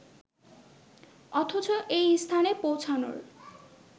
অথচ এই স্থানে পৌঁছানোর